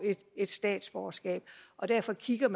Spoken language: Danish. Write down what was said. et dansk statsborgerskab og derfor kigger